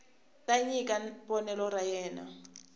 ta nyika vonelo ra yena